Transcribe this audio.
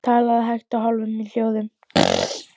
Talaði hægt og í hálfum hljóðum.